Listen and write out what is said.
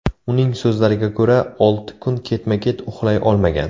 Uning so‘zlariga ko‘ra, olti kun ketma-ket uxlay olmagan.